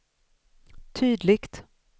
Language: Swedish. tydligt